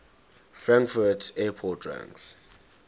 frankfurt airport ranks